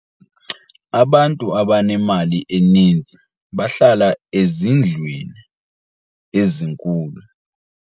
Abantu abanemali eninzi bahlala ezindlwini ezinkulu.